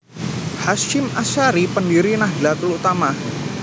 Hasyim Asyari Pendhiri Nahdatul Ulama